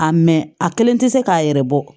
A mɛ a kelen tɛ se k'a yɛrɛ bɔ